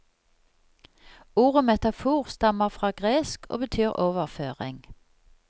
Ordet metafor stammer fra gresk og betyr overføring.